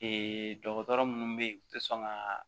dɔgɔtɔrɔ minnu bɛ yen u tɛ sɔn ka